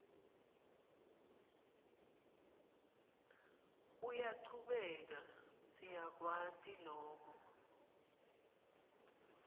uyachubeka siyakwati loku